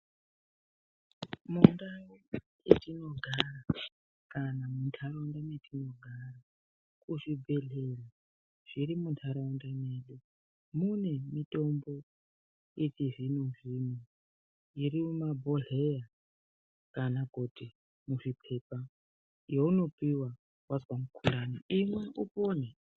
Mundau mwetinogara kana muntaraunda mwatinogara kuzvibhedhlera zviri mintaraunda mwedu mune mitombo yechizvino zvino iri mubhodhleya kana kuti muzvipepa yaunopiwa wazwa mukhuhlani imwa upone .